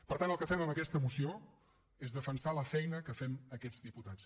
per tant el que fem amb aquesta moció és defensar la feina que fem aquests diputats